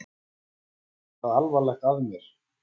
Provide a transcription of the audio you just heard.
Var eitthvað alvarlegt að mér?